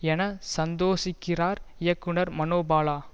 என சந்தோஷிக்கிறார் இயக்குனர் மனோபாலா